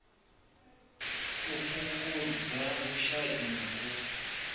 u fhungudza vhushai na u